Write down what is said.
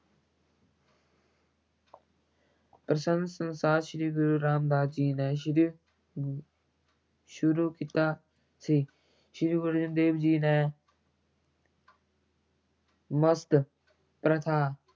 ਮਸੰਦ ਪ੍ਰਥਾ ਸ੍ਰੀ ਗੁਰੂ ਰਾਮਦਾਸ ਜੀ ਨੇ ਸ਼ੁਰੂ ਸ਼ੁਰੂ ਕੀਤਾ ਸੀ, ਸ੍ਰੀ ਗੁਰੂ ਅਰਜਨ ਦੇਵ ਜੀ ਨੇ ਮਸੰਦ ਪ੍ਰਥਾ